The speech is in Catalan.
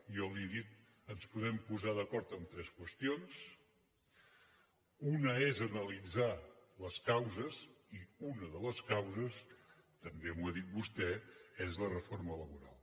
jo li ho he dit ens podem posar d’acord en tres qüestions una és analitzar les causes i una de les causes també m’ho ha dit vostè és la reforma laboral